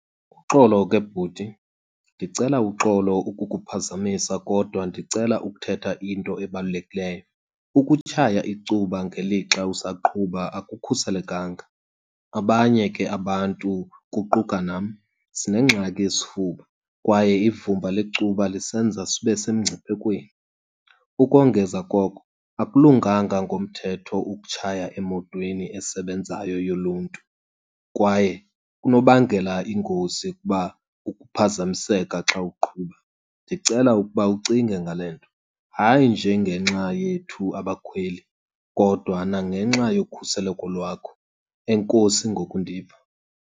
Uxolo ke bhuti, ndicela uxolo ukukuphazamisa kodwa ndicela ukuthetha into ebalulekileyo. Ukutshaya icuba ngelixa usaqhuba akukhuselekanga. Abanye ke abantu kuquka nam sinengxaki yesifuba kwaye ivumba lecuba lisenza sibe semngciphekweni. Ukongeza koko, akulunganga ngomthetho ukutshaya emotweni esebenzayo yoluntu kwaye kunobangela ingozi kuba ukuphazamiseka xa uqhuba. Ndicela ukuba ucinge ngale nto, hayi nje ngenxa yethu abakhweli kodwa nangenxa yokhuseleko lwakho. Enkosi ngokundiva.